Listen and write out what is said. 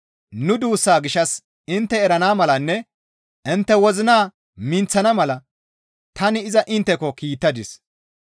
Nu duussaa gishshas intte erana malanne intte wozina minththana mala tani iza intteko kiittadis.